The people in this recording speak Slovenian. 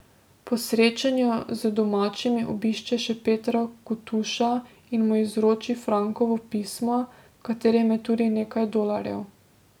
Po srečanju z domačimi obišče še Petra Kutoša in mu izroči Frankovo pismo, v katerem je tudi nekaj dolarjev.